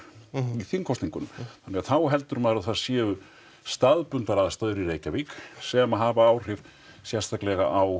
í þingkosningunum þannig að þá heldur maður að það séu staðbundnar aðstæður í Reykjavík sem hafa áhrif sérstaklega á